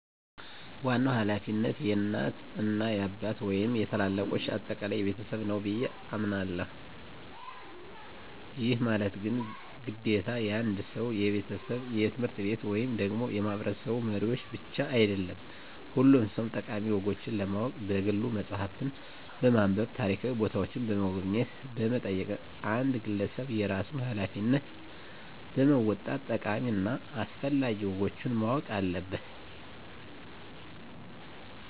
ዋናው ሀላፊነት የእናት እና የአባት ወይንም የታላላልቆቻችን አጠቃላይ የቤተሰብ ነው ብየ አሞናለሁ። ይህ ማለት ግን ግዴታ የአንድ ሰው፣ የቤተሰብ፣ የትምህርት ቤት ወይም ደግሞ የማህበረሰቡ መሪዎች ብቻ አይደለም ሁሉም ሰው ጠቃሚ ወጎችን ለማወቅ በግሉ መፅሃፍትን በማንብ፣ ታሪካዊ ቦታዎችን በመጎብኘት በመጠየቅ አንድ ግለሰብ የራሱን ሀላፊነት በመወጣት ጠቃሚ እና አስፈላጊ ወጎችን ማወቅ አለበት።